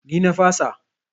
Ni na fasa.